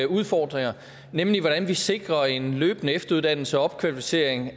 udfordringer nemlig hvordan vi sikrer en løbende efteruddannelse og opkvalificering